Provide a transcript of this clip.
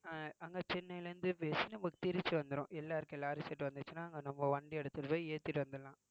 அஹ் அங்க சென்னையில இருந்து பேசி நமக்கு திருச்சி வந்துரும் எல்லாருக்கும் எல்லா வந்துச்சுன்னா நம்ம வண்டி எடுத்துட்டு போய் ஏத்திட்டு வந்துரலாம்